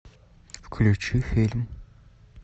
включи фильм